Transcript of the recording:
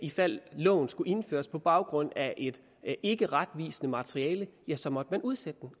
ifald loven skulle indføres på baggrund af et ikkeretvisende materiale så måtte man udsætte den